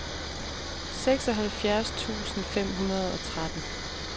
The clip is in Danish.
seksoghalvfjerds tusind fem hundrede og tretten